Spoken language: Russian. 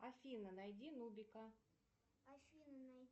афина найди нубика